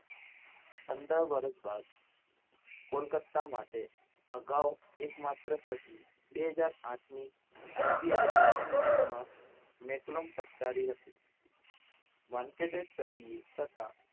પંદર વર્ષ બાદ કોલકત્તા માટે અગાઉ એક માત્ર સદી બે હાજર આઠની IPL ની પ્રથમ match માં મેકલોમ ફટકારી હતી વનકટેજ સદીએ છતાં